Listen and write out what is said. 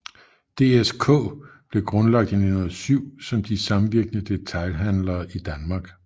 DSK blev grundlagt i 1907 som De Samvirkende Detailhandlere i Danmark